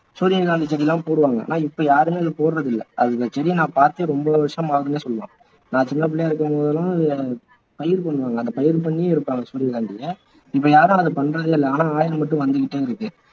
சூரியகாந்தி செடி எல்லாம் போடுவாங்க ஆனா இப்போ யாருமே அது போடுறது இல்லை அது நான் செடியை பாத்தே ரொம்ப வருஷம் ஆகுதுனே சொல்லலாம் நான் சின்னப்பிள்ளையா இருக்கும்போதெல்லாம் எடுப்பாங்க சூரியகாந்தியை இப்போ யாரும் அதை பண்றது இல்லை ஆனா oil மட்டும் வந்துகிட்டே இருக்கு